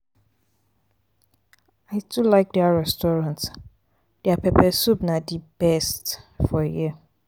i too like dat restaurant their um pepper soup na di best um for here.